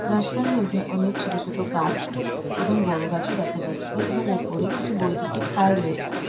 রাস্তার মধ্যে অনেক ছোট ছোট গাছ এবং বড়ো গাছও দেখা যাচ্ছে এবং ওপরে কিছু বৈদ্যুতিক তার রয়েছে।